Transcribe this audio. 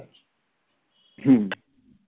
হম